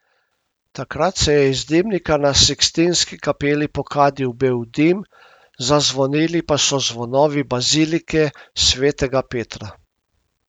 Takrat se je iz dimnika na Sikstinski kapeli pokadil bel dim, zazvonili pa so zvonovi bazilike svetega Petra.